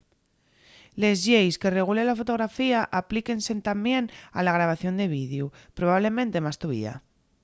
les lleis que regulen la fotografía aplíquense tamién a la grabación de videu probablemente más tovía